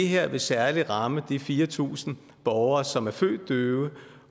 her vil særlig ramme de fire tusind borgere som er født døve